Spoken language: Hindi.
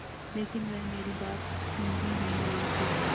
लेकिन वह मेरी बात सुन ही नहीं रहे थे